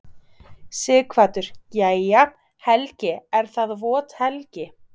Sighvatur: Jæja, Helgi er það vot helgi?